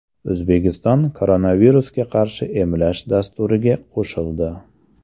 O‘zbekiston koronavirusga qarshi emlash dasturiga qo‘shildi.